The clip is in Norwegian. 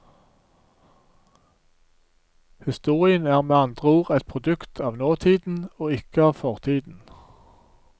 Historien er med andre ord et produkt av nåtiden og ikke av fortiden.